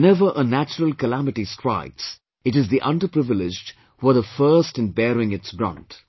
Whenever a natural calamity strikes, it is the underprivileged, who are the first in bearing its brunt